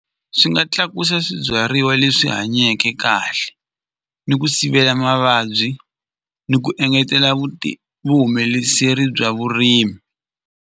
Swi nga tlakusa swibyariwa leswi hanyeke kahle ni ku sivela mavabyi ni ku engetela bya vurimi.